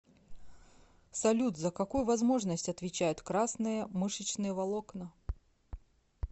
салют за какую возможность отвечают красные мышечные волокна